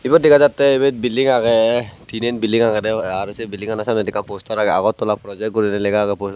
ibot dega jattey ibey billing agey tinan billing agedey aro sei billingano samnedi ekkan poster agey agartala projek guri lega agey pos.